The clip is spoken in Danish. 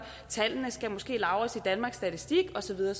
og tallene skal måske lagres i danmarks statistik og så videre